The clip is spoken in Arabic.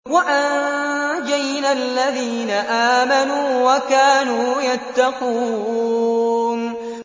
وَأَنجَيْنَا الَّذِينَ آمَنُوا وَكَانُوا يَتَّقُونَ